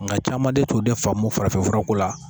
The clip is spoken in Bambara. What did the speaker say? Nga cama de t'o de faamu farafinfurako la